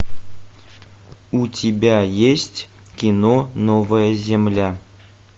у тебя есть кино новая земля